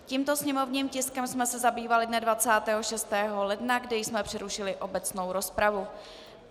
Tímto sněmovním tiskem jsme se zabývali dne 26. ledna, kde jsme přerušili obecnou rozpravu.